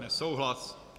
Nesouhlas.